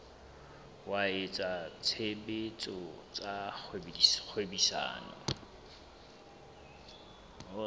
wa etsa tshebetso tsa kgwebisano